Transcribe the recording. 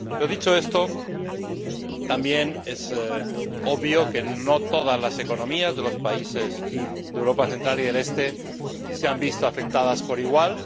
Dicho esto, también es obvio que no todas las economías de los países de Europa central y oriental se han visto afectadas por igual.